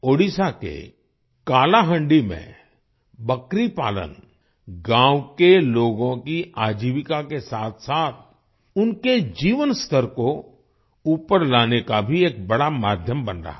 ओडिशा के कालाहांडी में बकरी पालन गाँव के लोगों की आजीविका के साथसाथ उनके जीवन स्तर को ऊपर लाने का भी एक बड़ा माध्यम बन रहा है